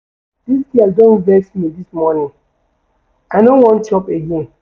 Dis girl don vex me dis morning, I no wan chop again.